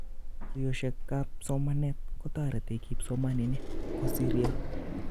tuyoshekap somanet kotoreti kipsomaninik kosiryo